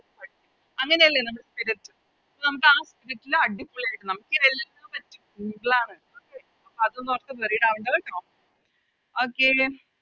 അങ്ങനെയല്ലേ നമ്മള് ചെയ്ത വെച്ചത് അപ്പൊ നമുക്ക Script ല് അടിപൊളിയായിട്ട് നമുക്ക് ഈ എല്ലാ അതൊന്നും ഓർത്ത് Worried ആവണ്ട കേട്ടോ Okay